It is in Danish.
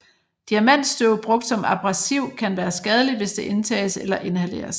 Diamantstøv brugt som abrasiv kan være skadeligt hvis det indtages eller inhaleres